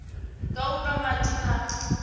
nga u nwa madi na